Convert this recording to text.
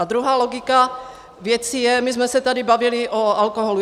A druhá logika věci je - my jsme se tady bavili o alkoholu.